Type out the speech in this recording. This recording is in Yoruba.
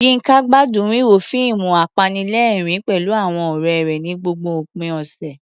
Yinka gbádùn wíwo fíìmù apanilẹ́rìn-ín pẹ̀lú àwọn ọ̀rẹ́ rẹ̀ ní gbogbo òpin ọ̀sẹ̀.